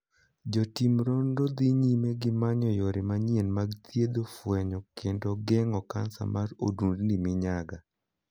Jotim nonro dhii nyime gi manyo yore manyien mag thiedho, fwenyo, kendo geng'o kansa mar odundni minyaga.